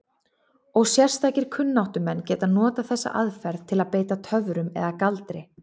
Og sérstakir kunnáttumenn geta notað þessa aðferð til að beita töfrum eða galdri.